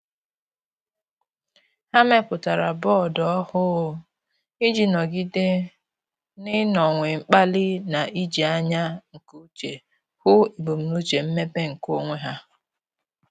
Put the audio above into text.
Há mèpụ̀tárà bọọdụ ọ́hụ́ụ iji nọ́gídé n’ị́nọ́wé mkpali na íjí ányá nke úchè hụ́ ebumnuche mmepe nke onwe ha.